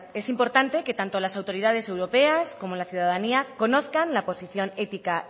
es importante que tanto las autoridades europeas como la ciudadanía conozcan la posición ética